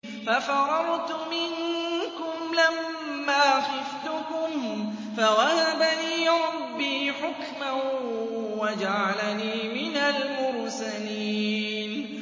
فَفَرَرْتُ مِنكُمْ لَمَّا خِفْتُكُمْ فَوَهَبَ لِي رَبِّي حُكْمًا وَجَعَلَنِي مِنَ الْمُرْسَلِينَ